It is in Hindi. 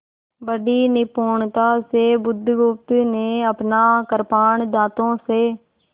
बड़ी निपुणता से बुधगुप्त ने अपना कृपाण दाँतों से